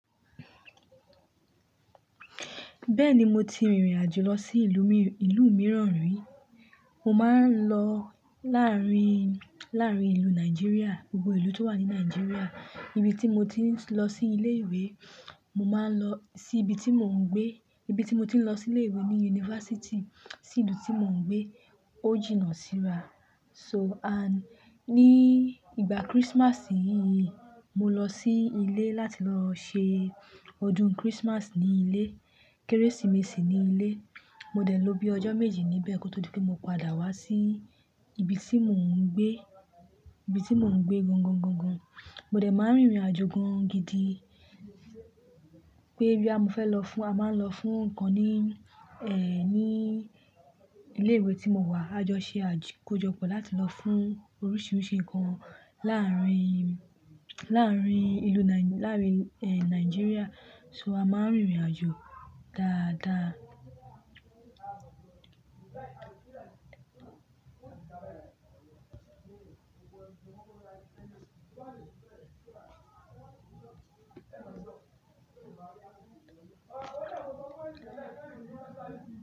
Bẹ́ẹ̀ni, mo ti rìnrìn àjò lọ sí ìlú mìíràn rí. Mo máa ń lọ láàárín, láàárín ìlú Nàìjíríà, gbogbo ìlú tó wà ní Nàìjíríà. Ibi tí mo ti ń lọ sí ilé ìwé, mo máa ń lọ sí ibi tí mò ń gbé. Ibi tí mo ti ń lọ sí ilé ìwé ni yunifásítì sí ìlú tí mò ń gbé, ó jìnnà síra. So and ní ìgbà Christmas yìí, mo lọ sí ilé láti lọ ṣe ọdún Christmas ní ilé. Kérésìmesì ní ilé. Mo dẹ̀ lọ bí ọjọ́ méjì níbẹ̀ kó tó di pé mo padà wá sí ibi tí mò ń gbé, ibi tí mò ń gbé gọ̀ńgọ̀ńgọ̀ńgọ̀ń. Mo dẹ̀ máa ń rìnrìn-àjò gan gidi. Pé boya mo fẹ́ lọ fún a máa ń lọ fún ǹkan ní, ẹ́, ní ilé ìwé tí mo wà. A jọ ṣe àkójọpọ̀ láti lọ fún oríṣiríṣi nkan láárín, láàrín ìlú Nai láárín, ẹ́, Nàìjíríà. So a máa ń rìnrìn-àjò dáadáa.